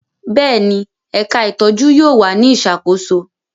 Bẹ́ẹ̀ni, ẹka itọju yóò wa ni isakoso